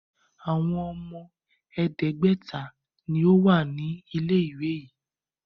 Àwọn ọmọ ẹ̀ẹ́dẹ́gbẹ̀ta ni ó wà ní ilé-ìwé yìí.